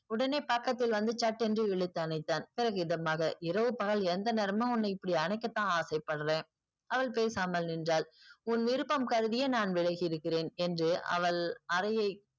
உடனே பக்கத்தில் வந்து சட்டென்று இழுத்தணைத்தான் இதமாக இரவு பகல் எந்த நேரமும் நீ இப்படி அணைக்க தான் ஆசைபடுறேன். அவள் பேசாமல் நின்றாள். உன் விருப்பம் கருதியே நான் விலகி இருக்கிறேன் என்று அவள் அறையை